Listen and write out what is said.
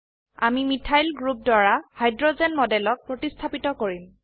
আমি methyl group দ্বাৰা hydrogen মডেলক প্ৰতিস্থাপিত কৰিম